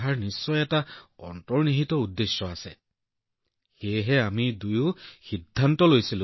তাই যেন এতিয়া আঁতৰি যাব কিন্তু তেতিয়া তাই পুনৰুজ্জীৱিত হৈ ঘূৰি আহিছে গতিকে আমি অনুভৱ কৰিছিলো যে এই শিশুটোৰ ইয়ালৈ অহাৰ কোনো উদ্দেশ্য আছে